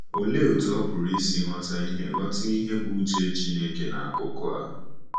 Olee otú ọ pụrụ isi ghọta ihe ghọta ihe bụ́ uche Chineke n’akụkụ a?